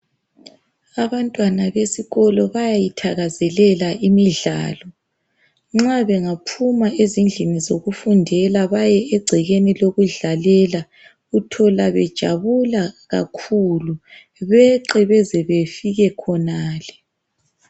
Abantwana besikolo bayayithakazelela imidlalo .Nxa bengaphuma ezindlini zokufundela baye egcekeni lokudlalela .Uthola bejabula kakhulu beqe beze befike khonale.